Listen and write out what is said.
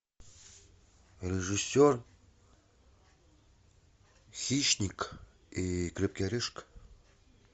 режиссер хищник и крепкий орешек